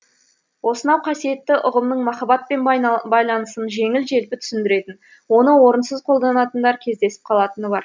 осынау қасиетті ұғымның махаббатпен байланысын жеңіл желпі түсінетіндер оны орынсыз қолданатындар кездесіп қалатыны бар